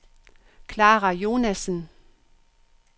Klara Jonassen